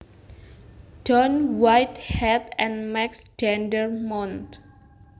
Don Whitehead and Max Dendermonde